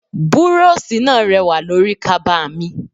Búróóṣì náà rẹwà lórí kaba mi.